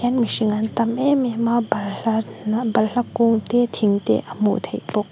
hian mihring an tam em em a balhla balhla kung te thing te a hmuh theih bawk.